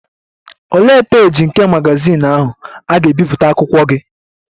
Olee peeji nke magazin ahụ a ga-ebipụta akụkọ gị?